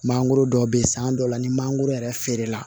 Mangoro dɔw bɛ yen san dɔw la ni mangoro yɛrɛ feere la